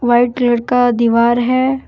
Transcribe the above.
White colour का दीवार है।